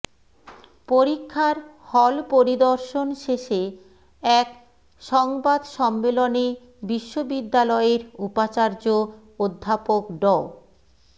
পরীক্ষার হল পরিদর্শন শেষে এক সংবাদ সম্মেলনে বিশ্ববিদ্যালয়ের উপাচার্য অধ্যাপক ড